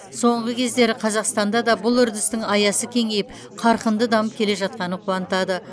соңғы кездері қазақстанда да бұл үрдістің аясы кеңейіп қарқынды дамып келе жатқаны қуантады